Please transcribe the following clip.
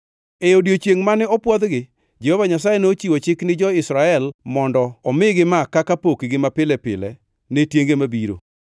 E odiechiengʼ mane opwodhgi, Jehova Nyasaye nochiwo chik ni jo-Israel mondo omigi ma kaka pokgi mapile ne tienge mabiro.